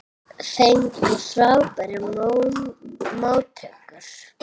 Fengu frábærar móttökur